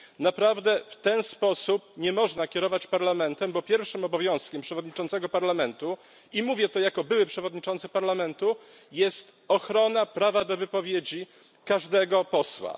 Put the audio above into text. Naprawdę w ten sposób nie można kierować Parlamentem, bo pierwszym obowiązkiem przewodniczącego Parlamentu, i mówię to jako były przewodniczący Parlamentu, jest ochrona prawa do wypowiedzi każdego posła.